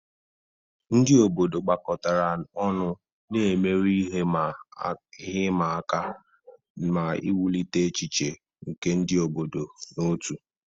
Ndị obodo gbakọtara ọnụ, na-emeri ihe ịma aka ma wulite echiche nke ịdị n'otu.